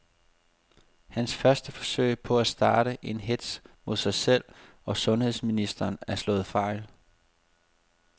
Hans første forsøg på at starte en hetz mod sig selv og sundheds ministeren er slået fejl.